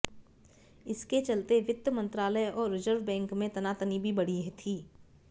इसके चलते वित्त मंत्रालय और रिजर्व बैंक में तनातनी भी बढ़ी थी